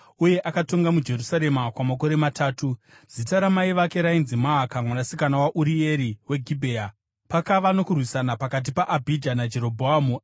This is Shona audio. Uye akatonga muJerusarema kwamakore matatu. Zita ramai vake rainzi Maaka, mwanasikana waUrieri weGibhea. Pakava nokurwisana pakati paAbhija naJerobhoamu.